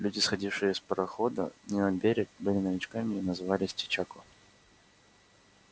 люди сходившие с парохода на берег были новичками и назывались чечако